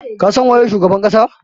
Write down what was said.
Ka san waye shugaban kasa?